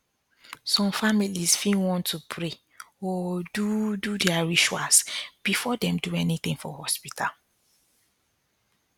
some families fit want to pray or do do their rituals before dem do anything for hospital